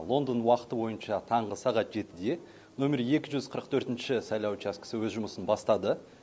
лондон уақыты бойынша таңғы сағат жетіде нөмері екі жүз қырық төртінші сайлау учаскесі өз жұмысын бастады